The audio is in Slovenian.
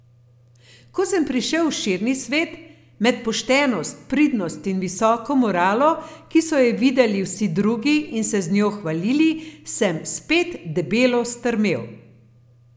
Ko sem prišel v širni svet, med poštenost, pridnost in visoko moralo, ki so jo videli vsi drugi in se z njo hvalili, sem spet debelo strmel.